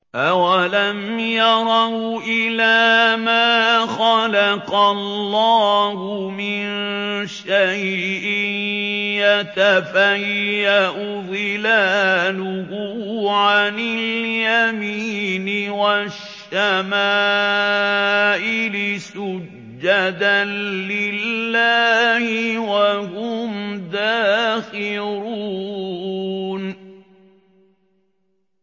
أَوَلَمْ يَرَوْا إِلَىٰ مَا خَلَقَ اللَّهُ مِن شَيْءٍ يَتَفَيَّأُ ظِلَالُهُ عَنِ الْيَمِينِ وَالشَّمَائِلِ سُجَّدًا لِّلَّهِ وَهُمْ دَاخِرُونَ